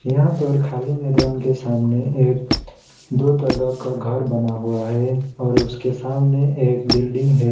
यहां पर खाली मैदान के सामने एक दो तल्ला का घर बना हुआ है और उसके सामने एक बिल्डिंग है।